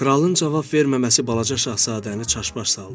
Kralın cavab verməməsi balaca şahzadəni çaş-baş saldı.